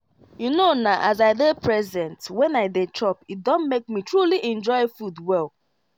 you know na as i dey present when i dey chop e don make me truly enjoy food well.